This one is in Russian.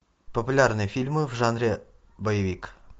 популярные фильмы в жанре боевик